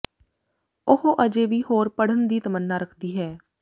ਉਹ ਅਜੇ ਵੀ ਹੋਰ ਪੜ੍ਹਨ ਦੀ ਤਮੰਨਾ ਰੱਖਦੀ ਹੈ